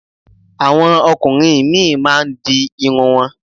Àwọn ọkùnrin míì máa ń di irun wọn.